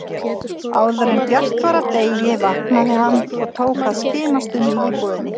Áðuren bjart var af degi vaknaði hann og tók að skimast um í íbúðinni.